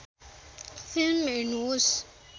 film हेर्नुहोस्